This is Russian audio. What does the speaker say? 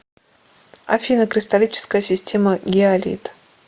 афина кристаллическая система гиалит